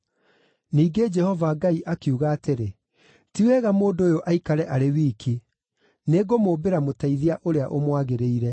Ningĩ Jehova Ngai akiuga atĩrĩ, “Ti wega mũndũ ũyũ aikare arĩ wiki. Nĩngũmũmbĩra mũteithia ũrĩa ũmwagĩrĩire.”